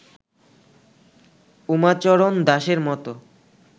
উমাচরণ দাসের মত